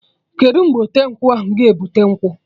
Kedụ mgbe ọte nkwụ ga-ebute nkwụ?